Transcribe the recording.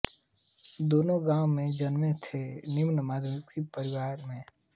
दोनों गाँव में जन्मे थे निम्न मध्यवित्त परिवार में